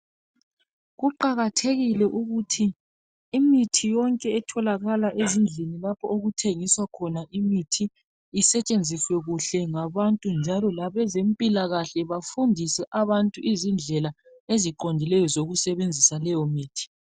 Kuqakathekile ukuthi imithi yonke etholakala ezindlini lapho okuthengiswa khona imithi isetshenziswe kuhle ngabantu njalo labezempilakahle bafundise abantu izindlela eziqondileyo zokusebenzisa leyomithi.